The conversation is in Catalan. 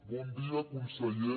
bon dia conseller